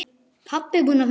Pabbi búinn að finna Guð!